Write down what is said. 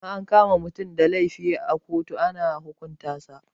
In an kama mutum da laifi a ƙotu ana hukunta sa